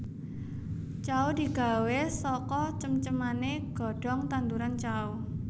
Cao digawé saka cem ceman godhong tanduran cao